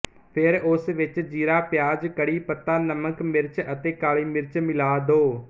ਫੇਰ ਉਸ ਵਿੱਚ ਜੀਰਾ ਪਿਆਜ ਕੜੀ ਪੱਤਾ ਨਮਕ ਮਿਰਚ ਅਤੇ ਕਾਲੀ ਮਿਰਚ ਮਿਲਾ ਦੋ